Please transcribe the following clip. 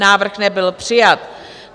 Návrh nebyl přijat.